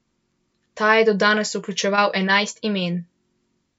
Ta je do danes vključeval enajst imen.